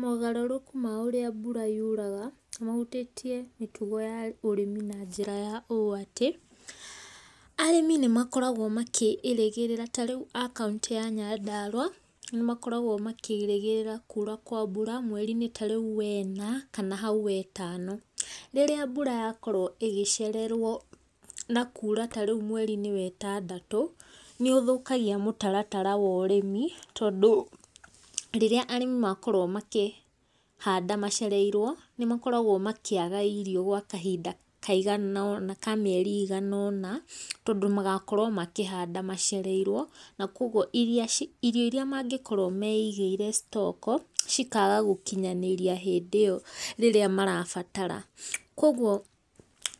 Mogarũrũku ma ũrĩa mbura yuraga, nĩ mahutĩtie mĩtugo ya ũrĩmi na njira ũũ atĩ, arĩmi nĩ makoragwo makĩĩrĩgĩrĩra, tarĩu a kauntĩ ya Nyandarũa nĩmakoragwo makĩĩrĩgĩrĩra kuura kwa mbura mweri-inĩ wena, kana hau wendano. Rĩrĩa mbura yakorwo ĩgĩcererwo na kuura tarĩu mweri wetandatũ, nĩ ũthũkagia mũtaratara wa ũrĩmi, tondũ rĩrĩa arĩmi makorwo makĩhanda macereirwo, nĩ makoragũo makĩaga irio gwa kahinda kaigana, ka mĩeri ĩiganaona, tondũ magakorwo makĩhanda macereirwo, nakoguo irio iria mangĩkorwo meigĩire stock, cikaga gũkinyanĩria hĩndĩ ĩyo rĩrĩa marabatara. Koguo,